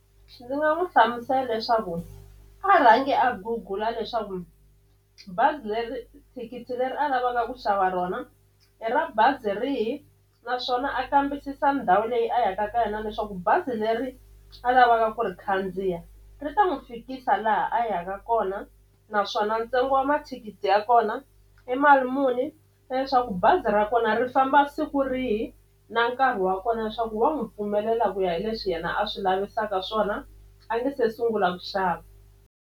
Ndzi nga n'wi hlamusela leswaku a rhangi a gugula leswaku bazi leri thikithi leri a lavaka ku xava rona i ra bazi rihi naswona a kambisisa ndhawu leyi a yaka ka yona leswaku bazi leri a lavaka ku ri khandziya ri ta n'wi fikisa laha a yaka kona naswona ntsengo wa mathikithi ya kona i mali muni na leswaku bazi ra kona ri famba siku rihi na nkarhi wa kona leswaku va n'wi pfumelela ku ya hi leswi yena a swi lavisaka swona a nge se sungula ku xava.